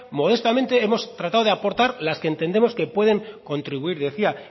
modestamente hemos tratado de aportar las que entendemos que pueden contribuir decía